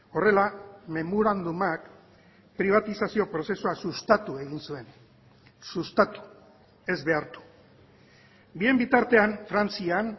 horrela memorandumak pribatizazio prozesua sustatu egin zuen sustatu ez behartu bien bitartean frantzian